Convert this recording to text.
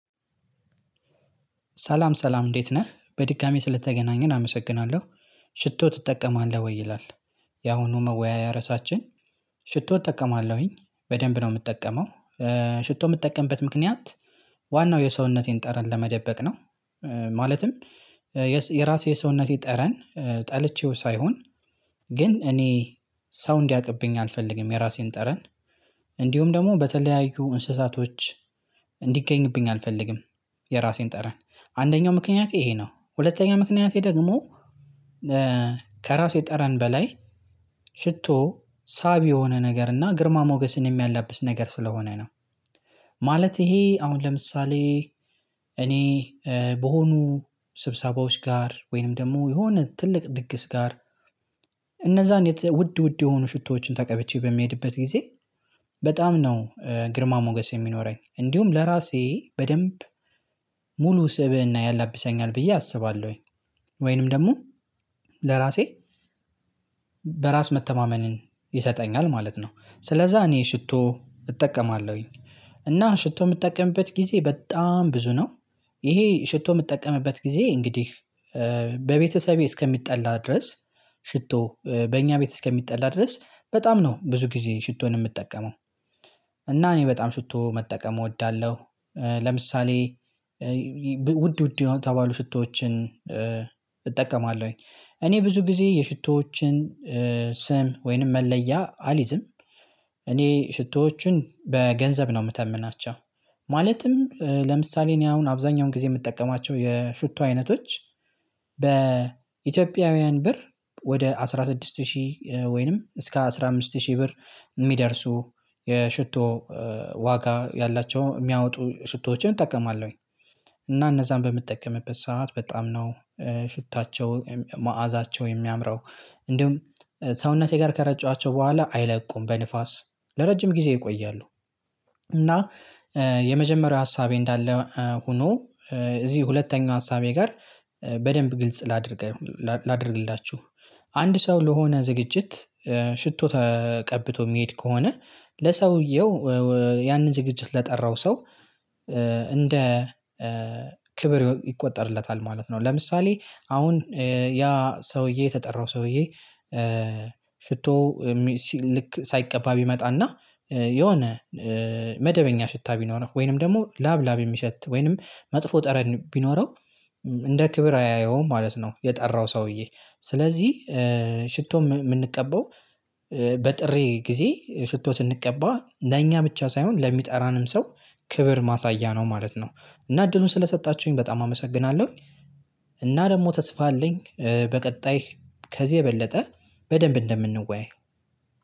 ሰላም ሰላም እንዴት ነህ በድጋሚ ስለተገናኘን አመሰግናለሁ ሽቶ ትጠቀማለህ ወይ ይላል? ያሁኑ መወያያ ርዕሳችን። ሽቶ እጠቀማለሁኝ በደንብ ነው የምጠቀመው። ሽቶ የምትጠቀምበት ምክንያት ዋናው የሰውነቴን ጠረን ለመደበቅ ነው። ማለትም የራሴ የሰውነቴ ጠረን ጠልቼው ሳይሆን። ግን እኔ ሰው እንዲያቅብኝ አልፈልግም የራሴን ጠረን። እንዲሁም ደግሞ በተለያዩ እንስሳቶች እንዲገኝብኝ አልፈልግም። የራሴን ጠረን አንደኛው ምክንያት ይሄ ነው። ሁለተኛ ምክንያቴ ደግሞ ከራሴ ጠረን በላይ ሽቶ ሳቢ የሆነ ነገር እና ግርማ ሞገስን የሚያላብስ ነገር ስለሆነ ነው። ማለት ይሄ አሁን ለምሳሌ እኔ በሆኑ ስብሰባዎች ጋር ወይንም ደግሞ የሆነ ትልቅ ድግስ ጋር። እነዛን ውድ ውድ የሆኑ ሽቶዎችን ተቀብቼ በሚሄድበት ጊዜ በጣም ነው ግርማ ሞገስ የሚኖረኝ እንዲሁም ለራሴ በደንብ ሙሉ ስብእና ያላብሰኛል ብዬ አስባለሁኝ። ወይንም ደግሞ ለራሴ በራስ መተማመንን ይሰጠኛል ማለት ነው። ስለዛ እኔ ሽቶ እጠቀማለሁኝ እና ሽቶ የምጠቀምበት ጊዜ በጣም ብዙ ነው። ይሄ ሽቶ የምጠቀምበት ጊዜ እንግዲህ በቤተሰቤ እስከሚጠላ ድረስ ሽቶ በእኛ ቤት እስከሚጠላ ድረስ በጣም ነው ብዙ ጊዜ ሽቶን የምጠቀመው። እና እኔ በጣም ሽቶ መጠቀም እወዳለሁ። ለምሳሌ ውድ ውድ የሆነ ተባሉ ሽቶዎችን። እጠቀማለሁኝ እኔ ብዙ ጊዜ የሽቶዎችን ስም ወይንም መለያ አልይዝም። እኔ ሽቶዎችን በገንዘብ ነው የምተምናቸው። ማለትም ለምሳሌ እኔ አሁን አብዛኛውን ጊዜ የምጠቀማቸው የሽቶ አይነቶች በኢትዮጵያውያን ብር ወደ አስራ ስድስት ሺህ ወይንም እስከ አስራ አምስት ሺህ ብር የሚደርሱ የሽቶ ዋጋ ያላቸው የሚያወጡ ሽቶዎችን እጠቀማለሁኝ። እና እነዛን በምትጠቀምበት ሰዓት በጣም ነው ሽታቸው መዓዛቸው የሚያምረው እንዲሁም ሰውነቴ ጋር ከረጨዋቸው በኋላ አይለቁም በንፋስ ለረጅም ጊዜ ይቆያለሁ። እና የመጀመሪያው ሀሳቤ እንዳለ ሆኖ እዚህ ሁለተኛው ሀሳቤ ጋር በደንብ ግልጽ ላድርገው ላድርግላችሁ። አንድ ሰው ለሆነ ዝግጅት ሽቶ ተቀብቶ የሚሄድ ከሆነ ለሰውየው ያንን ዝግጅት ለጠራው ሰው እንደ ክብር ይቆጠርለታል ማለት ነው። ለምሳሌ አሁን ያ ሰውዬ የተጠራው ሰውዬ ሽቶ ልክ ሳይቀባ ቢመጣና የሆነ መደበኛ ሽታ ቢኖረው ወይንም ደግሞ ላብ ላብ የሚሸት ወይንም መጥፎ ጠረን ቢኖረው። እንደ ክብር አያየውም ማለት ነው። የጠራው ሰውዬ ስለዚህ ሽቶ የምንቀበው በጥሪ ጊዜ ሽቶ ስንቀባ ለኛ ብቻ ሳይሆን ለሚጠራንም ሰው ክብር ማሳያ ነው ማለት ነው። እና እድሉን ስለሰጣችሁኝ በጣም አመሰግናለሁኝ። እና ደግሞ ተስፋ አለኝ በቀጣይ ከዚህ የበለጠ በደንብ እንደምንወያይ